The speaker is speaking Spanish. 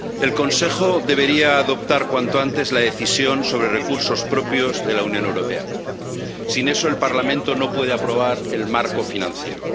Señora presidenta, el Consejo debería adoptar cuanto antes la decisión sobre recursos propios de la Unión Europea. Sin eso, el Parlamento no puede aprobar el marco financiero.